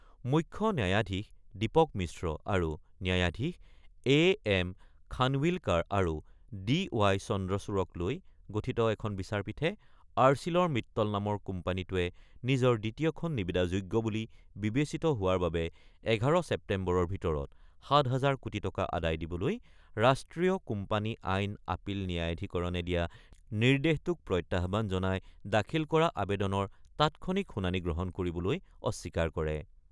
মুখ্য ন্যায়াধীশ দীপক মিশ্ৰ আৰু ন্যায়াধীশ এ এম খানৱিলকাৰ আৰু ডি ৱাই চন্দ্ৰচূড়ক লৈ গঠিত এখন বিচাৰপীঠে আৰ্চিলৰ মিটল নামৰ কোম্পানীটোৱে নিজৰ দ্বিতীয়খন নিবিদা যোগ্য বুলি বিবেচিত হোৱাৰ বাবে ১১ ছেপ্তেম্বৰৰ ভিতৰত ৭ হাজাৰ কোটি টকা আদায় দিবলৈ ৰাষ্ট্ৰীয় কোম্পানী আইন আপিল ন্যায়াধীকৰণে দিয়া নিৰ্দেশটোক প্ৰত্যাহ্বান জনাই দাখিল কৰা আৱেদনৰ তাৎক্ষণিক শুনানি গ্ৰহণ কৰিবলৈ অস্বীকাৰ কৰে।